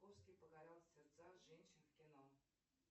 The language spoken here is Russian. покорял сердца женщин в кино